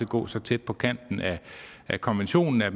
gå så tæt på kanten af konventionen at